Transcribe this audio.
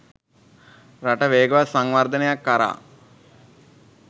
රට වේගවත් සංවර්ධනයක් කරා